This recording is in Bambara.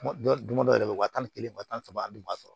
Dɔ don dɔ yɛrɛ bɛ wa tan ni kelen wa tan ni saba dun ma sɔrɔ